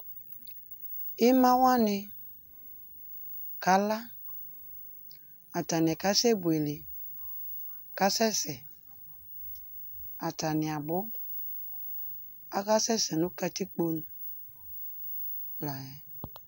Imawani kala, atani kae buele, k'asɛs, atani abʋ, aka sɛsɛ nʋ katikpo nu layɛ